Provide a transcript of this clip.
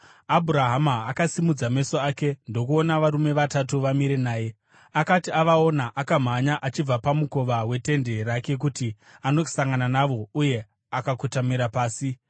Abhurahama akasimudza meso ake ndokuona varume vatatu vamire naye. Akati avaona, akamhanya achibva pamukova wetende rake kuti andosangana navo uye akakotamira pasi.